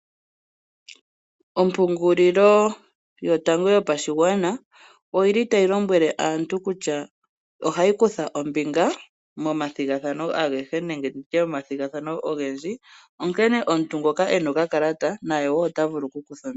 Ompungililo yotango yopadhigwana oyi li tayi lombwele aantu kutya o hayi kutha ombinga momathigathano agehe nenge tutye mo mathigathano ogendji. Omuntu ngoka e na okakalata na ye woo otavulu oku kutha ombinga.